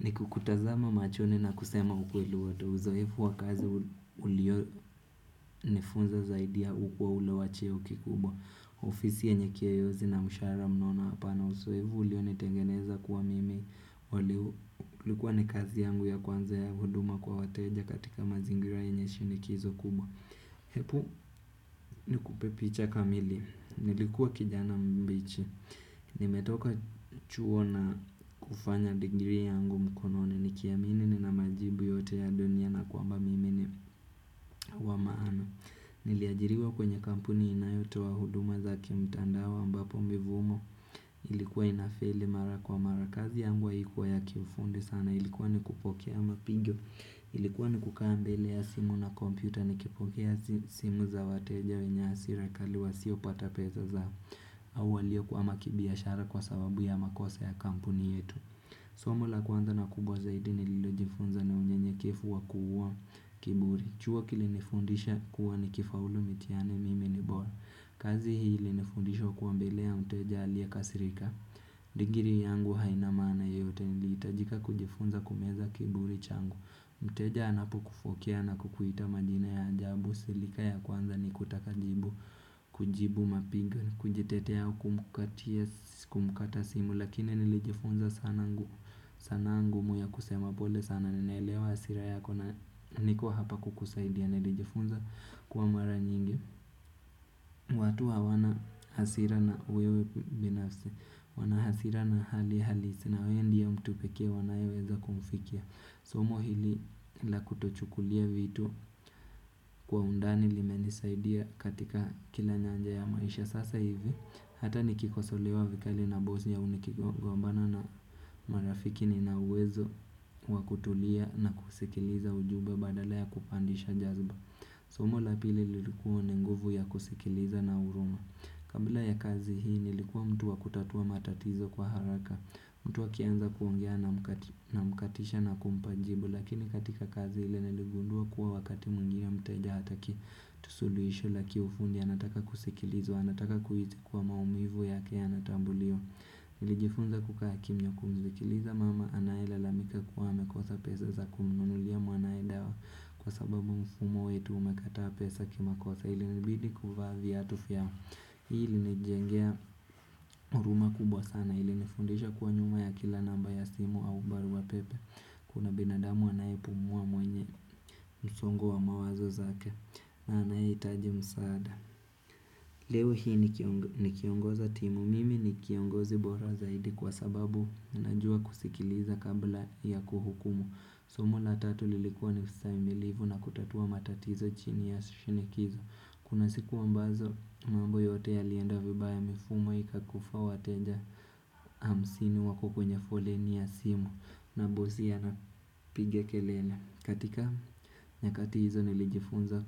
Ni kukutazama machoni na kusema ukweli wato uzoefu wa kazi ulio nifunza zaidi ukuwa ule wa cheo kikubwa. Ofisi yenye keyozi na mshahara mnono hapana uzoevu ulio nitengeneza kuwa mimi. Ulikuwa ni kazi yangu ya kwanza ya huduma kwa wateja katika mazingira yenye shinikizo kubwa. Hepu ni kupe picha kamili. Nilikuwa kijana mbichi. Nimetoka chuo na kufanya digiri yangu mkononi Nikiamini ni na majibu yote ya dunia na kwamba mimi ni wamaana Niliajiriwa kwenye kampuni inayotoa huduma za kimtandao ambapo mivumo Ilikuwa inafeli mara kwa mara kazi yangu haikuwa ya kiifundi sana Ilikuwa ni kupokea mapigio Ilikuwa ni kukaa mbele ya simu na kompyuta Nikipokea simu za wateja wenye hasira kali wa siopata pesa zao au waliokwama kibiashara kwa sababu ya makosa ya kampuni yetu Somo la kwanza na kubwa zaidi nililo jifunza ni unyenyekevu wa kuuwa kiburi Chua kilinefundisha kuwa ni kifaulu mitiani mimi ni bora kazi hii ilinifundisha kuwa mbele ya mteja alie kasirika Digiri yangu haina maana yote niliitajika kujifunza kumeza kiburi changu Mteja anapo kufokea na kukuita majina ya ajabu silika ya kwanza ni kutaka jibu kujibu mapiga Kujetetea au kumukatia simu Lakini nilijifunza sana ngu sanaa ngumu ya kusema pole sana ninaelewa hasira yako na niko hapa kukusaidia nilijifunza kuwa mara nyingi watu hawana hasira na wewe binafsi Wanahasira na hali halisi na wewe ndie mtu pekee wanayeweza kumfikia Somo hili la kutochukulia vitu Kwa undani lime nisaidia katika kila nyanja ya maisha Sasa hivi hata nikikosolewa vikali na bosi au nikigombana na marafiki nina uwezo wa kutulia na kusikiliza ujumbe badala ya kupandisha jazba Somo la pili lilikuwa ni nguvu ya kusikiliza na huruma Kabla ya kazi hii nilikuwa mtuwa kutatua matatizo kwa haraka mtu akianza kuongea na mkatisha na kumpajibu Lakini katika kazi ile niligundua kuwa wakati mwingine mteja hataki tu suluisho laki ufundi anataka kusikilizwa, anataka kuhisi kuwa maumivu yake yanatambuliwa. Nilijifunza kukaa kimya kumzikiliza mama, anaelalamika kuwa amekosa pesa za kumunulia mwanae dawa kwa sababu mfumo wetu umekataa pesa kimakosa ilinibidi kuvaa viyatu fyao. Hii ilinijengea huruma kubwa sana ilinifundisha kuwa nyuma ya kila namba ya simu au barua pepe. Kuna binadamu anayepumua mwenye msongo wa mawazo zake. Anayeitaji msaada. Leo hii ni kiongoza timu, mimi ni kiongozi bora zaidi kwa sababu na najua kusikiliza kabla ya kuhukumu Somo la tatu lilikua niustahimilivu na kutatua matatizo chini ya shinikizo Kuna siku ambazo mambo yote yalienda vibaya mifumo ika kufa wateja hamsini wako kwenye foleni ya simu na bosi anapiga kelele katika nyakati hizo nilijifunza